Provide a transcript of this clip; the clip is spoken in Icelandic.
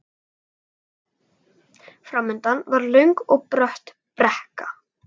Framundan var löng og brött brekka.